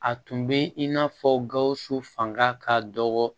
A tun bɛ in n'a fɔ gawusu fanga ka dɔgɔ